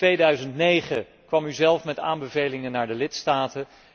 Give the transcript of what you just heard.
In 2009 kwam u zelf met aanbevelingen aan de lidstaten.